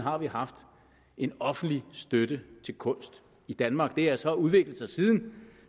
har vi haft en offentlig støtte til kunst i danmark det har så udviklet sig siden